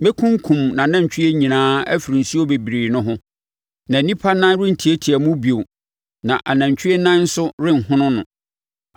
Mɛkunkum nʼanantwie nyinaa afiri nsuo bebree no ho na nnipa nan rentiatia mu bio na anantwie nan nso renhono no.